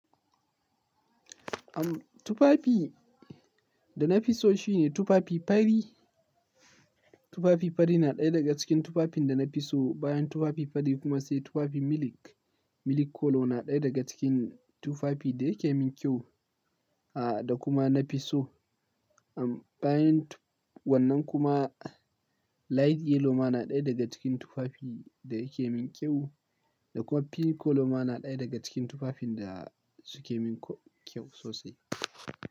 Am tufafi, da na fi so shine tufafi fari. Tufafi fari na ɗaya daga cikin tufafin da na fi so. Bayan tufafi fari kuma sai tufafi milk. Milk color na ɗaya daga cikin tufafi da yake min kyau, a da kuma na fi so. Am bayan wannan kuma, light yellow ma na ɗaya daga cikin tufafi da yake min kyau da kuma pink color ma na ɗaya daga cikin tufafin da suke min kyau sosai.